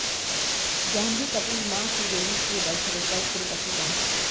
जान्हवी कपूर मां श्रीदेवी के बर्थडे पर तिरुपति पहुंचीं